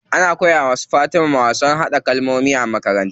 An koya wa su Fatima wasan haɗa kalkomi a makaranta.